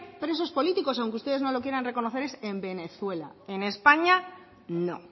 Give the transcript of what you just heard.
presos políticos aunque ustedes no lo quieran reconocer es en venezuela en españa no